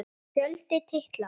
Fjöldi titla